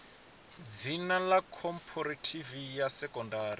dzina ḽa khophorethivi ya sekondari